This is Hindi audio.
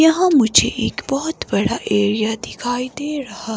यहां मुझे एक बहुत बड़ा एरिया दिखाई दे रहा --